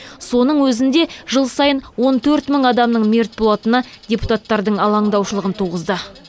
соның өзінде жыл сайын он төрт мың адамның мерт болатыны депутаттардың алаңдаушылығын туғызды